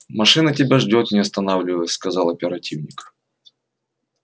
машина тебя ждёт не останавливаясь сказал оперативник